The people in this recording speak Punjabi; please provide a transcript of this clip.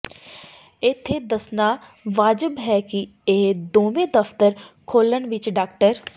ਇੱਥੇ ਦੱਸਣਾ ਵਾਜਬ ਹੈ ਕਿ ਇਹ ਦੋਵੇਂ ਦਫਤਰ ਖੋਲ੍ਹਣ ਵਿੱਚ ਡਾ